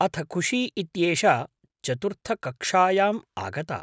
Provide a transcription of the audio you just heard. अथ खुशी इत्येषा चतुर्थकक्षायाम् आगता।